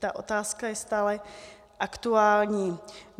Ta otázka je stále aktuální.